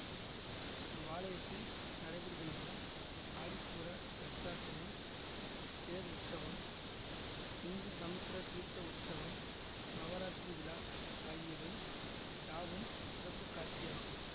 இவ்வாலயத்தில் நடைபெறுகின்ற ஆடிப்பூர இலட்சார்ச்சனை தேர் உற்சவம் இந்து சமுத்திர தீர்த்த உற்சவம் நவராத்திரி விழா ஆகியவை யாவும் சிறப்புக்காட்சியாகும்